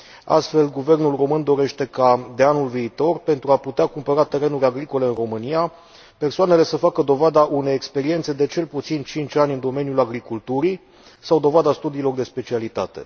Astfel, Guvernul român dorește ca, de anul viitor, pentru a putea cumpăra terenuri agricole în România, persoanele să facă dovada unei experiențe de cel puțin 5 ani în domeniul agriculturii sau dovada studiilor de specialitate.